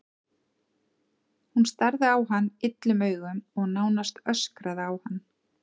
Hún starði á hann illum augum og nánast öskraði á hann.